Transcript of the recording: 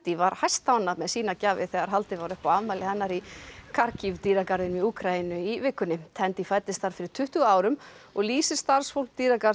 var hæstánægð með sínar gjafir þegar haldið var upp á afmælið hennar í dýragarðinum í Úkraínu í vikunni fæddist þar fyrir tuttugu árum og lýsir starfsfólk